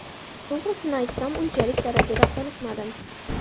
To‘g‘risini aytsam, unchalik darajada qoniqmadim.